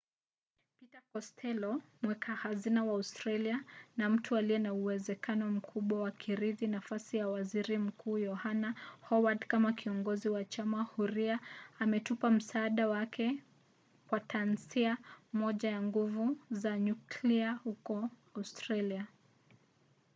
peter kostello mweka hazina wa australia na mtu aliye na uwezekano mkubwa wa kurithi nafasi ya waziri mkuu yohana howad kama kiongozi wa chama huria ametupa msaada wake kwa tasnia moja ya nguvu za nyuklia huko australia